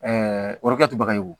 o yɔrɔ kɛ to baga ye wo